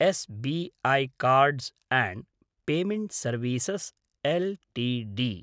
S B I cards and payment services LTD